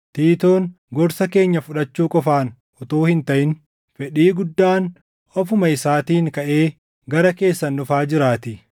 Tiitoon gorsa keenya fudhachuu qofaan utuu hin taʼin fedhii guddaan ofuma isaatiin kaʼee gara keessan dhufaa jiraatii.